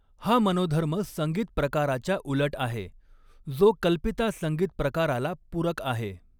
हा मनोधर्म संगीत प्रकाराच्या उलट आहे, जो कल्पिता संगीत प्रकाराला पूरक आहे.